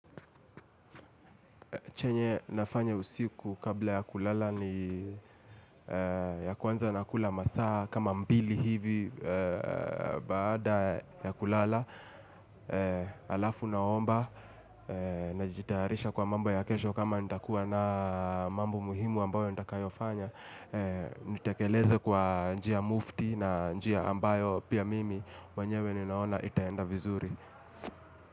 Chenye nafanya usiku kabla ya kulala ni ya kwanza nakula masaa kama mbili hivi baada ya kulala. Halafu naomba najitayarisha kwa mambo ya kesho kama nitakuwa na mambo muhimu ambayo nitakayo fanya. Nitekeleze kwa njia mufti na njia ambayo pia mimi mwenyewe ninaona itaenda vizuri.